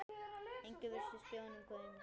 Enginn virtist gefa honum gaum.